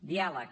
diàleg